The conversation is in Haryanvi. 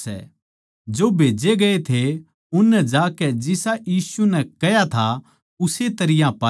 जो खन्दाए गए थे उननै जाकै जिसा यीशु नै कह्या था उस्से तरियां पाया